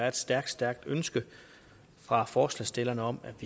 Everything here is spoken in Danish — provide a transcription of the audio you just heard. et stærkt stærkt ønske fra forslagsstillerne om at